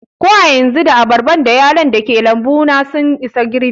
Ko a yanzu, da abarba da yalon dake lambu na sun isa girɓi